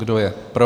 Kdo je pro?